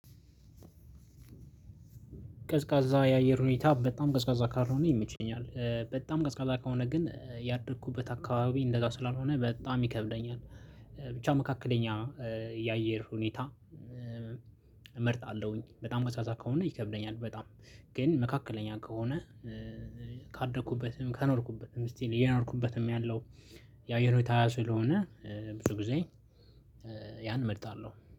ቀዝቃዛ የአየር ሁኔታ በጣም ቀዝቃዛ ካልሆነ ይመቸኛል በጣም ቀዝቃዛ ከሆነ ግን ያደኩበት አካባቢ እንደዛ ስላልሆነ በጣም ይከብደኛል። ብቻ መካከለኛ የአየር ሁኔታ። እመርጣለሁኝ በጣም ቀዝቃዛ ከሆነ ይከብደኛል በጣም ግን መካከለኛ ከሆነ። ካደኩበትም ከኖርኩበትም ስቲል እየኖርኩበትም ያለው የአየር ሁኔታ ስለሆነ ብዙ ጊዜ ያን እመርጣለሁ